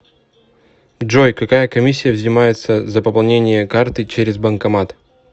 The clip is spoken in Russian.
джой какая комиссия взимается за пополнение карты через банкомат